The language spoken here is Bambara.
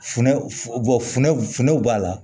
Funɛ funɛw funɛw b'a la